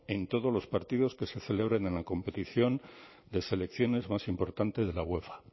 en todos los partidos que se celebren en la competición de selecciones más importante de la uefa